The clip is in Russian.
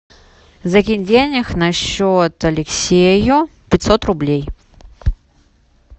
закинь денег на счет алексею пятьсот рублей